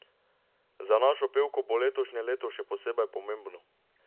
Za našo pevko bo letošnje leto še posebej pomembno.